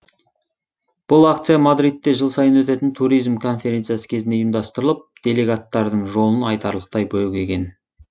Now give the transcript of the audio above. бұл акция мадридте жыл сайын өтетін туризм конференциясы кезінде ұйымдастырылып делегаттардың жолын айтарлықтай бөгеген